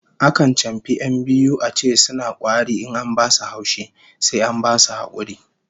Akan chamfi 'yan biyu a ce suna kwari in an ba su haushi, sai an basu hakuri